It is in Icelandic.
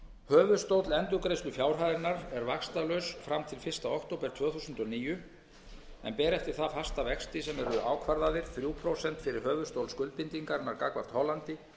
höfuðstóll endurgreiðslufjárhæðarinnar er vaxtalaus fram til fyrsta október tvö þúsund og níu en ber eftir það fasta vexti sem eru ákvarðaðir þrjú prósent fyrir höfuðstól skuldbindingarinnar gagnvart hollandi